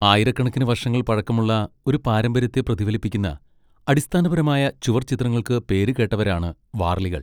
ആയിരക്കണക്കിന് വർഷങ്ങൾ പഴക്കമുള്ള ഒരു പാരമ്പര്യത്തെ പ്രതിഫലിപ്പിക്കുന്ന, അടിസ്ഥാനപരമായ ചുവർ ചിത്രങ്ങൾക്ക് പേരുകേട്ടവരാണ് വാർലികൾ.